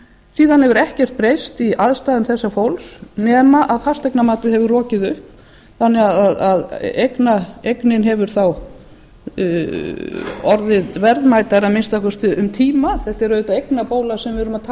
síðan hefur ekkert breyst í aðstæðum þessa fólks nema fasteignamatið hefur rokið upp þannig að eignin hefur þó orðið verðmætari að minnsta kosti um tíma þetta er auðvitað eignabóla sem við erum að tala um þetta er